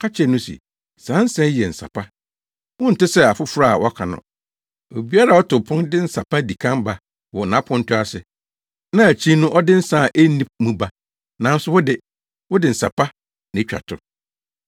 ka kyerɛɛ no se, “Saa nsa yi yɛ nsa pa. Wonte sɛ afoforo a wɔaka no. Obiara a ɔto pon de nsa pa di kan ba wɔ nʼaponto ase, na akyiri no ɔde nsa a enni mu aba. Nanso wo de, wode nsa pa no atwa to!”